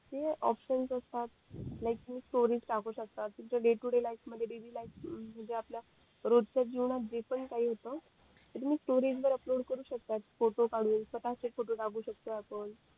तिथेऑपशन असतात like story टाकू शकतात तुमच्या डे टू डे लाईफ मध्ये डेली लाईफ मध्ये म्हणजे आपल्या रोजच्या जीवनात जे पण काही होत ते तुम्हीस्टोरी वर अपलोड करू शकतात फोटो काढून स्वतः चे फोटो टाकू शकतोय आपण